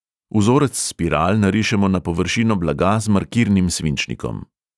Vzorec spiral narišemo na površino blaga z markirnim svinčnikom.